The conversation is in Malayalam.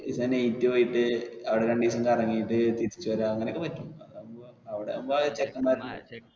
night പോയിട്ട് അവിടെ രണ്ടുദിവസം കറങ്ങിട്ട് തിരിച്ചുവരാം അങ്ങനെയൊക്കെ പറ്റും അവിടെ ആകുമ്പോ ചെക്കന്മാര്